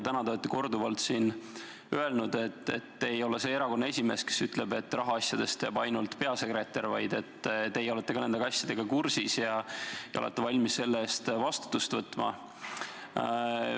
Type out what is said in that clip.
Te olete täna korduvalt öelnud, et te ei ole see erakonna esimees, kes ütleb, et rahaasjadest teab ainult peasekretär, vaid teie olete ka nende asjadega kursis ja olete valmis selle eest vastutama.